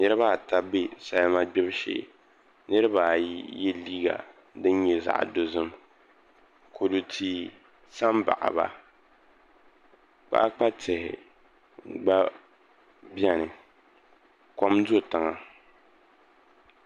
Niraba ata bɛ salima gbibu shee niraba ayi yɛ liiga din nyɛ zaɣ dozim kodu tihi sa n baɣaba kpaakpa tihi gba biɛni kom do tiŋa